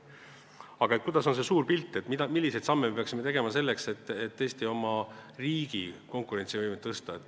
Aga milline on see suur pilt, milliseid samme me peaksime tegema selleks, et tõesti oma riigi konkurentsivõimet tõsta?